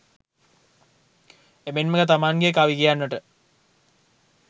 එමෙන්ම තමන්ගේ කවි කියන්නට